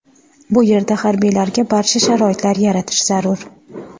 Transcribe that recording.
Bu yerda harbiylarga barcha sharoitlar yaratish zarur.